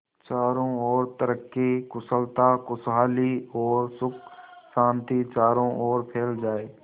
चारों और तरक्की कुशलता खुशहाली और सुख शांति चारों ओर फैल जाए